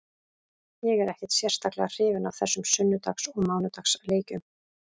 Ég er ekkert sérstaklega hrifinn af þessum sunnudags og mánudags leikjum.